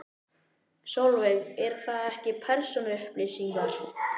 Sólveig: Eru það ekki persónuupplýsingar?